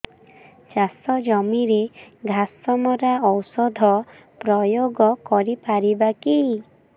ଚାଷ ଜମିରେ ଘାସ ମରା ଔଷଧ ପ୍ରୟୋଗ କରି ପାରିବା କି